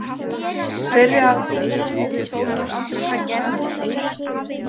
Þeirri aðför stýrði Þórður Andrésson Sæmundarsonar.